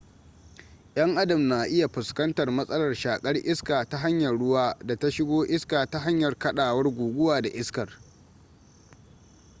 yan adam na iya fuskantar masalar shakar iskar ta hanyar ruwa da ta shiga iska ta hanyar kadawar guguwa da iskar